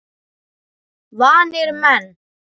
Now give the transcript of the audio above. Vanir menn.